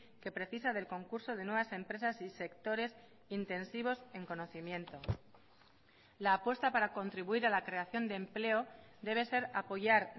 que precisa del concurso de nuevas empresas y sectores intensivos en conocimiento la apuesta para contribuir a la creación de empleo debe ser apoyar